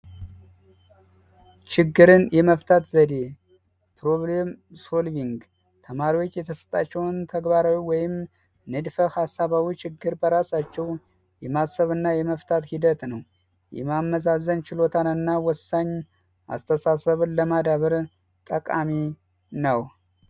ችግርን የመፍታት ዘዴ የተማሪዎች የተሰጣቸውን ወይንም ንድፈ ሃሳብ ችግሮች በራሳቸው የመፍታት ሂደት ነው። የማመዛዘን ችሎታና ወሳኝ አስተሳሰብን ለማዳበር ጠቃሚ ነው።